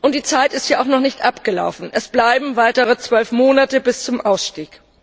Die Zeit ist ja auch noch nicht abgelaufen, es bleiben weitere zwölf Monate bis zum Ausstieg.